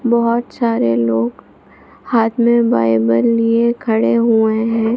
बहोत सारे लोग हाथ मे बायबल लिए हुए खड़े हुए है।